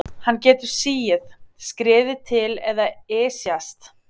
Hann getur sigið, skriðið til eða ysjast.